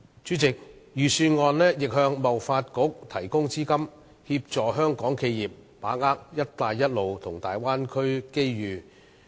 主席，預算案亦向香港貿易發展局提供資金，協助香港企業把握"一帶一路"和大灣區的機遇。